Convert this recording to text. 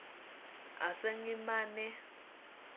asengimane